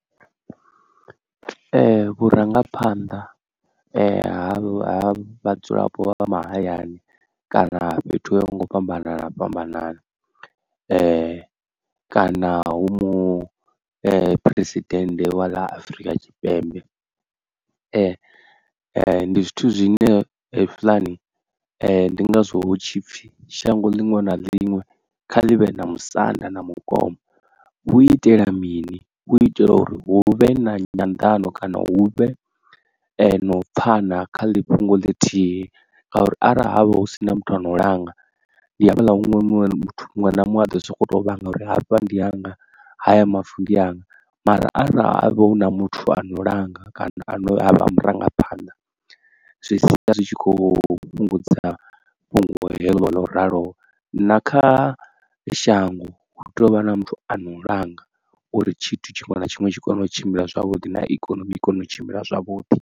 Ee vhurangaphanḓa ha vhadzulapo vha vha mahayani kana fhethu ho ya ho nga u fhambanana fhambanana kana hu mu phuresidennde wa ḽa Afrika Tshipembe ndi zwithu zwine he zwila ni ndi ngazwo hu tshipfhi shango linwe na linwe kha livhe na musanda na mukoma, hu itela mini u itela uri hu vhe na nyandano kana hu vhe no pfhana kha ḽi fhungo ḽithihi ngauri arali havha hu sina muthu ano u langa ndi hafhala huṅwe muthu muṅwe na muṅwe a ḓo sokou tou vhanga uri hafha ndi hanga haya mavu ndi anga. Mara arali ha vha hu na muthu ano langa kana a no a vha a murangaphanḓa zwi sia ritshi kho fhungudza fhungo heḽo ḽo raloho. Na kha shango hu tea u vha na muthu ano langa uri tshithu tshiṅwe na tshiṅwe tshi kone u tshimbila zwavhuḓi na ikonomi i kone u tshimbila zwavhuḓi.